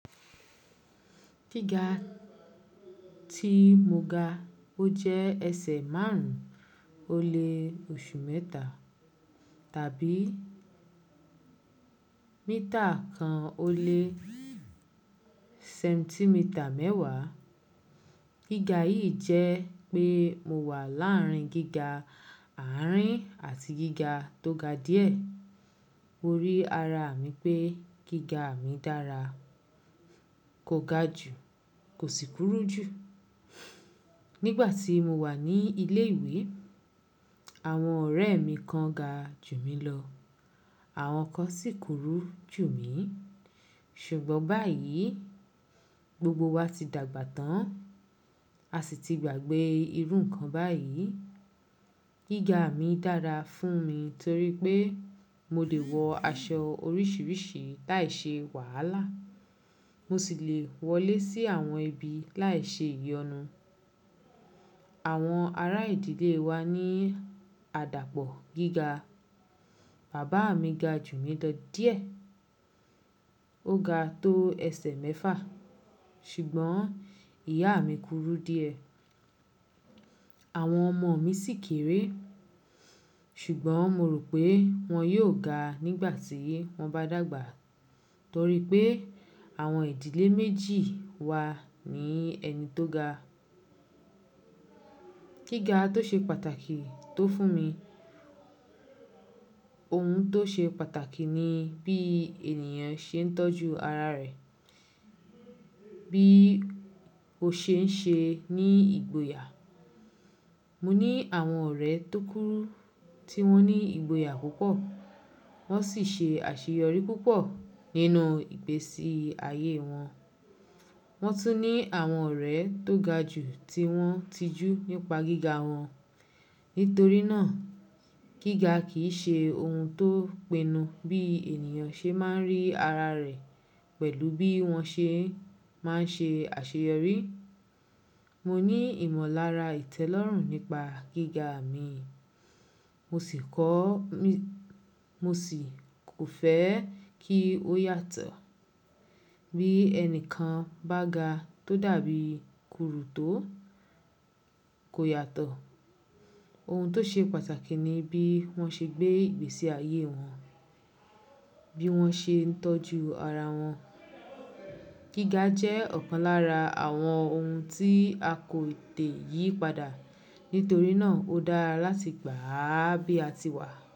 Gíga tí mo ga, ó jẹ́ ẹsẹ̀ márùn-ún ó lé oṣù mẹ́ta tàbí mítà kan ó lé sẹ́ńtímítà mẹ́wàá. Gíga yìí jẹ́ pé mo wà láàárín gíga àárín àti gíga tó ga díẹ̀. Mo rí ara mi pé gíga mi dára, kò ga jù, kò sì kúrú jù. Nígbà tí mo wà ní ilé ìwé, àwọn ọ̀rẹ́ mi kan ga jù mí lọ, àwọn kan sì kúrú jù mí. Ṣùgbọ́n báyìí, gbogbo wa ti dàgbà tán, a sì ti gbàgbé irun kan báyìí. Gíga mi dára fún mi torí pé mo lè wọ aṣọ oríṣiríṣi láìṣe wàhálà, mo sì lè wọlé sí àwọn ibi láìṣe ìyọnu. Àwọn ará ìdílé wa ní àdàpọ̀ gíga. Bàbá mi ga jù mí lọ díẹ̀, ó ga tó ẹsẹ̀ mẹ́fà, ṣùgbọ́n ìyá mi kúrú díẹ̀. Àwọn ọmọ mi sì kéré, ṣùgbọ́n mo rò pé wọ́n yóò ga nígbà tí wọ́n bá dàgbà torí pé àwọn ìdílé méjì wa ní ẹni tó ga. Gíga tó ṣe pàtàkì tó fún mi, ohun tó ṣe pàtàkì ni bí ènìyàn ṣe ń tọ́jú ara rẹ̀, bí ó ṣe ń ṣe ní ìgboyà. Mo ní àwọn ọ̀rẹ́ tó kúrú tí wọ́n ní ìgboyà púpọ̀, wọ́n sì ṣe àṣeyọrí púpọ̀ nínú ìgbésí ayé wọn. Wọ́n tún ní àwọn ọ̀rẹ́ tó ga jù tí wọ́n tijú nípa gíga wọn. Nítorí náà, gíga kì í ṣe ohun tó pinnu bí ènìyàn ṣe máa ń rí ara rẹ̀ pẹ̀lú bí wọ́n ṣe máa ń ṣe àṣeyọrí. Mo ní ìmọ̀lára ìtẹ́lọ́rùn nípa gíga mi, mo sì kò fẹ́ kí ó yàtọ̀. Bí ẹnìkan bá ga tó dàbí kúrú tó, kò yàtọ̀. Ohun tó ṣe pàtàkì ni bí wọ́n ṣe gbé ìgbésí ayé wọn, bí wọ́n ṣe ń tọ́jú ara wọn. Gíga jẹ́ ọ̀kan lára àwọn ohun tí a kò te ìyí padà, nítorí náà ó dára láti gbà á bí a ti wà.